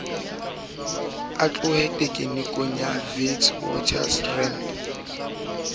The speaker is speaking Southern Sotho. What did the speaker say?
a tlohe tekenikonong ya witwatersrand